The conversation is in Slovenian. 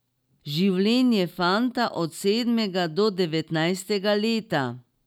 Življenje fanta od sedmega do devetnajstega leta.